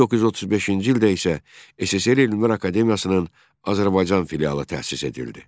1935-ci ildə isə SSRİ Elmlər Akademiyasının Azərbaycan filialı təsis edildi.